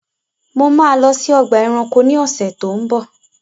Mo máa lọ sí ọgbà ẹranko ni ọ̀sẹ̀ tó ń bọ̀.